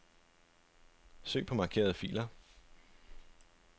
Søg på markerede filer.